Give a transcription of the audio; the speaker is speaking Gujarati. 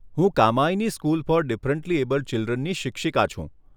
હું Kamayani school for differently abled ચિલ્ડ્રનની શિક્ષિકા છું.